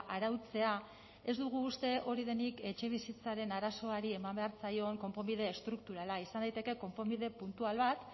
arautzea ez dugu uste hori denik etxebizitzaren arazoari eman behar zaion konponbidea estrukturala izan daiteke konponbide puntual bat